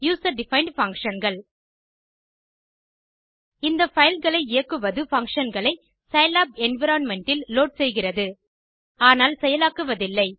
user defined functionகள் இந்த பைல்களை இயக்குவது functionகளை சிலாப் என்வைரன்மென்ட் இல் லோட் செய்கிறது ஆனால் செயலாக்குவதில்லை